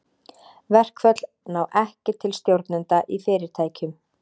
Verkföll ná ekki til stjórnenda í fyrirtækjum.